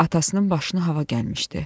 Atasının başını hava gəlmişdi.